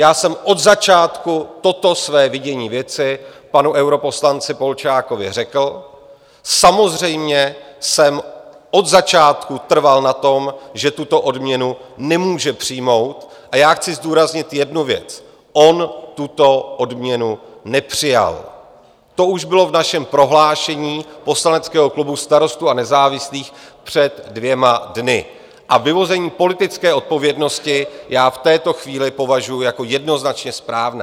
Já jsem od začátku toto své vidění věci panu europoslanci Polčákovi řekl, samozřejmě jsem od začátku trval na tom, že tuto odměnu nemůže přijmout, a já chci zdůraznit jednu věc - on tuto odměnu nepřijal, to už bylo v našem prohlášení poslaneckého klubu Starostů a nezávislých před dvěma dny, a vyvození politické odpovědnosti já v této chvíli považuji jako jednoznačně správné.